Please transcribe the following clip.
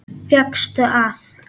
Fékkstu að.